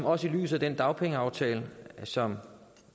også i lyset af den dagpengeaftale som